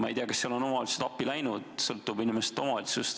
Ma ei tea, kas neile on omavalitsused appi läinud, ilmselt sõltub see omavalitsusest.